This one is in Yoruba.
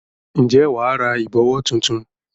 Ǹjẹ́ wà á ra ìbọ̀wọ́ tuntun?